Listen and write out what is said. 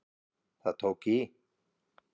Það tók í